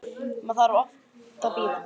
Maður þarf svo oft að bíða!